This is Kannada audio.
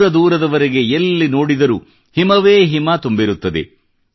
ದೂರದೂರವರೆಗೆ ಎಲ್ಲಿ ನೋಡಿದರೂ ಹಿಮವೇ ಹಿಮ ತುಂಬಿರುತ್ತದೆ